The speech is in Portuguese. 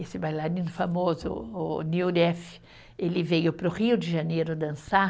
Esse bailarino famoso, o, ele veio para o Rio de Janeiro dançar.